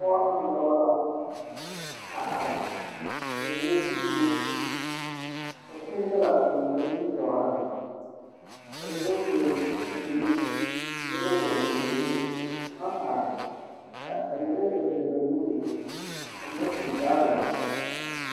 Pɔgebɔ ne dɔbɔ la a are, ka mine gbi zime, ka kũũ daga a biŋ ba nimitɔɔreŋ, ka mine vɔge sapigri, mine ba vɔge sapigri, baŋ are, a, ka mine gba deri ba nuuri, ka mine tuŋ toraazɛre.